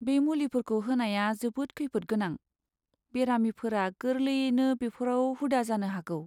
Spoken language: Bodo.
बे मुलिफोरखौ होनाया जोबोद खैफोदगोनां, बेरामिफोरा गोरलैयैनो बेफोराव हुदा जानो हागौ।